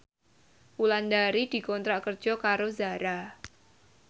Wulandari dikontrak kerja karo Zara